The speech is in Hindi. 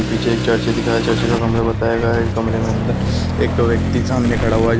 पीछे एक चर्च दिखाया | चर्च का कमरा बताया गया है | यह कमरे में अन्दर एक व्यक्ति सामने खड़ा हुआ है जो--